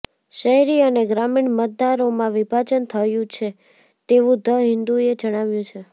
શહેરી અને ગ્રામીણ મતદારોમાં વિભાજન થયુ છે તેવુ ધ હિન્દુએ જણાવ્યુ છે